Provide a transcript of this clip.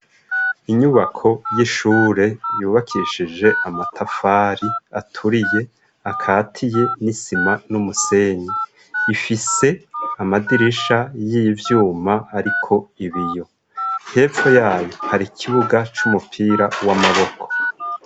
Inyubako y'ishure yubakishije amatafari aturiye akatiye n'isima n'umusenyi. Ifise amadirisha y'ivyuma ariko ibiyo. Hepfo yayo, har'ikibuga c'umupira w'amaboko.